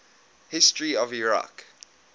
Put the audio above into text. history of iraq